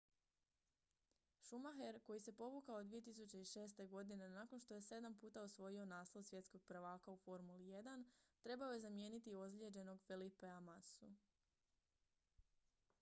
schumacher koji se povukao 2006. godine nakon što je sedam puta osvojio naslov svjetskog prvaka u formuli 1 trebao je zamijeniti ozlijeđenog felipea massu